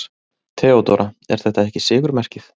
THEODÓRA: Er þetta ekki sigurmerkið?